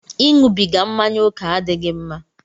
Ịṅụbiga mmáñyá oke adịghị mma